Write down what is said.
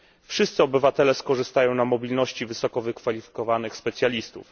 Wszyscy obywatele skorzystają na mobilności wysoko wykwalifikowanych specjalistów.